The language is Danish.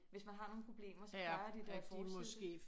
Hvis man har nogen problemer så plejer de da at fortsætte